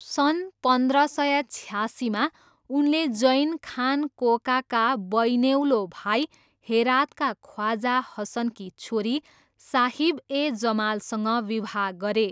सन् पन्ध्र सय छयासीमा उनले जैन खान कोकाका बैनेउलो भाइ हेरातका ख्वाजा हसनकी छोरी साहिब ए जमालसँग विवाह गरे।